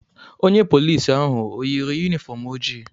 Onye polici ahụ o yi yunifọm ojii?